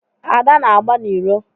Ada na-agba n'iro.